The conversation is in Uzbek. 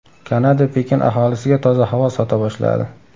Kanada Pekin aholisiga toza havo sota boshladi.